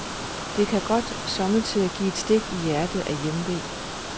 Det kan godt sommetider give et stik i hjertet af hjemve.